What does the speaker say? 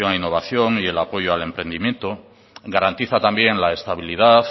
innovación y el apoyo al emprendimiento garantiza también la estabilidad